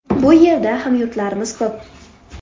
Bu yerda hamyurtlarimiz ko‘p.